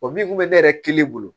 O min kun bɛ ne yɛrɛ kelen bolo